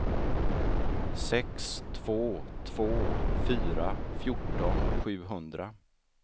sex två två fyra fjorton sjuhundra